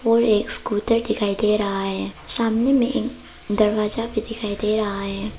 और एक स्कूटर दिखाई दे रहा है सामने में एक दरवाजा भी दिखाई दे रहा है।